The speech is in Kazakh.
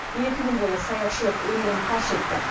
екі күн бойы саятшылық өнерін паш етті